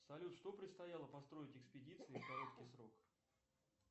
салют что предстояло построить экспедиции в короткий срок